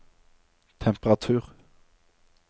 temperatur